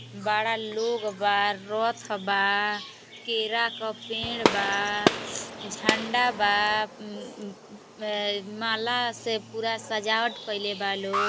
बड़ा लोग बा। रथ बा केरा क पेड़ बा। झंडा बा अम अम अ माला से पूरा सजावट कईले बा लोग।